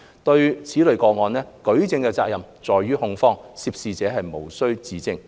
就此類個案，舉證的責任在於控方，涉事者無須自證。